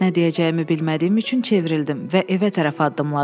Nə deyəcəyimi bilmədiyim üçün çevrildim və evə tərəf addımladım.